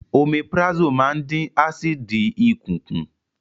Omeprazole máa ń dín ásíìdì ikùn kù